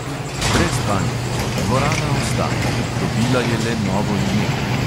Brez panike: dvorana ostaja, dobila je le novo ime.